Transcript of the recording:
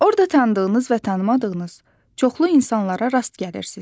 Orda tanıdığınız və tanımadığınız çoxlu insanlara rast gəlirsiz.